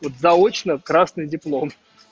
вот заочно красный диплом